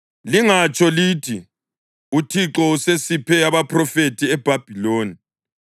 Lingatsho lithi, “ UThixo usesiphe abaphrofethi eBhabhiloni,”